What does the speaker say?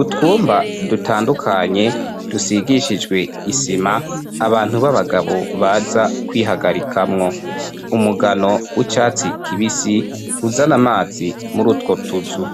utwumba dutandukanye dusigishijwe isima, abantu b'abagabo baza kwihagarikamwo, umugano w'icatsi kibisi uzana amazi muri utwo tuzu.